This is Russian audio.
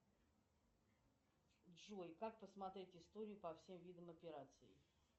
джой как посмотреть историю по всем видам операций